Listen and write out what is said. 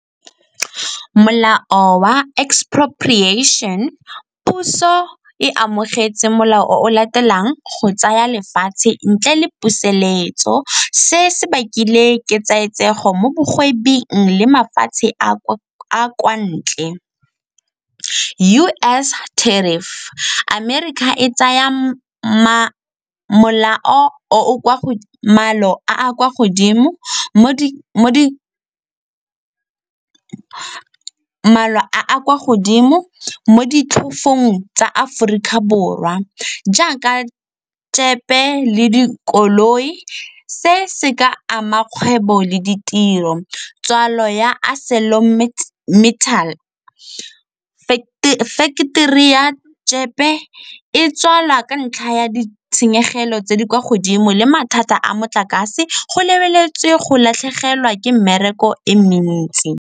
Molao wa expropriation, puso e amogetse molao o latelang go tsaya lefatshe ntle le puseletso. Se se bakile ketsaetsego mo bagwebing le mafatshe a a kwa ntle. U_S Tarrif, Amerika e tsaya a a kwa godimo mo tsa Aforika Borwa. Jaaka le dikoloi se se ka ama kgwebo le ditiro tswalelo ya , factory ya Jeep-e e tswalwa ka ntlha ya ditshenyegelo tse di kwa godimo le mathata a motlakase go lebeletswe go latlhegelwa ke mmereko e mentsi.